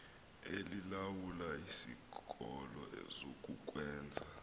elilawula isikolo zokukwenza